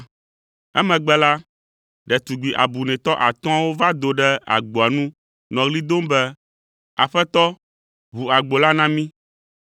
“Emegbe la, ɖetugbi abunɛtɔ atɔ̃awo va do ɖe agboa nu nɔ ɣli dom be, ‘Aƒetɔ, ʋu agbo la na mí!’